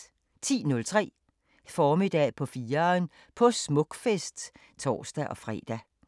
10:03: Formiddag på 4'eren – på Smukfest (tor-fre)